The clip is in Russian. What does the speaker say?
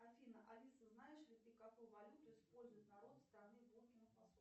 афина алиса знаешь ли ты какую валюту использует народ страны